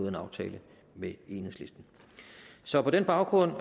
en aftale med enhedslisten så på den baggrund